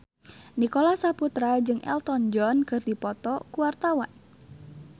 Nicholas Saputra jeung Elton John keur dipoto ku wartawan